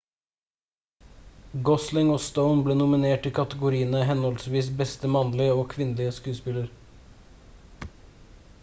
gosling og stone ble nominert i kategoriene henholdsvis beste mannlige og kvinnelig skuespiller